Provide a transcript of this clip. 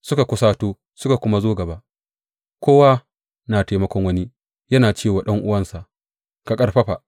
Suka kusato suka kuma zo gaba; kowa na taimakon wani yana ce wa ɗan’uwansa, Ka ƙarfafa!